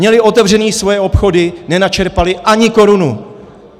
Měli otevřené svoje obchody, nenačerpali ani korunu!